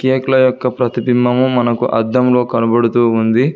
కేకుల యొక్క ప్రతిబింబము మనకు అద్దంలో కనబడుతూ ఉంది.